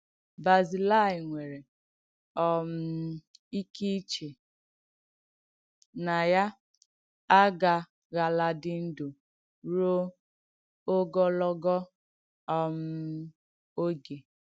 Bazilaị nwèrè um ìkè ìchè nà ya àgàghàlàdì ndụ́ ruò ògọ̀lọ̀g̣ọ̀ um ogè.